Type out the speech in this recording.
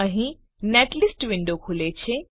અહીં netlist window ખુલે છે